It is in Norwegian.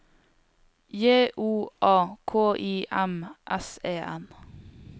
J O A K I M S E N